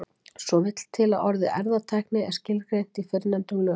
Svo vill til að orðið erfðatækni er skilgreint í fyrrnefndum lögum.